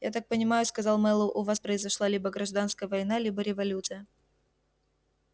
я так понимаю сказал мэллоу у вас произошла либо гражданская война либо революция